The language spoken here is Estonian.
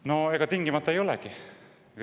No ega tingimata ei olegi.